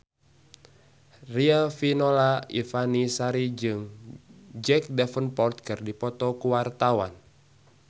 Riafinola Ifani Sari jeung Jack Davenport keur dipoto ku wartawan